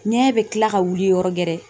Ŋɛɲɛ bɛ kila ka wili yɔrɔ gɛrɛ